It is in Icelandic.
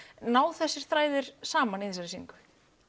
ná þessir þræðir saman í þessar sýningu